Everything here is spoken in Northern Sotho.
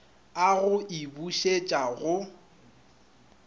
a go e bušetša go